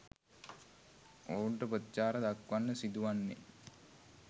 ඔවුන්ට ප්‍රතිචාර දක්වන්න සිදුවන්නේ